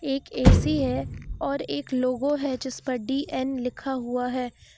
एक ए_सी है और एक लोगो है जिस पर डी_एन लिखा हुआ है।